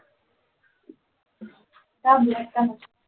का black का नको